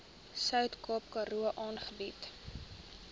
suidkaap karoo aangebied